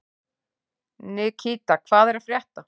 Nikíta, hvað er að frétta?